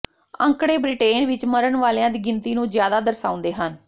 ਅੰਕੜੇ ਬ੍ਰਿਟੇਨ ਵਿਚ ਮਰਨ ਵਾਲਿਆਂ ਦੀ ਗਿਣਤੀ ਨੂੰ ਜ਼ਿਆਦਾ ਦਰਸਾਉਂਦੇ ਹਨ